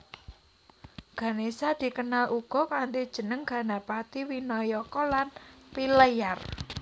Ganésa dikenal uga kanthi jeneng Ganapati Winayaka lan Pilleyar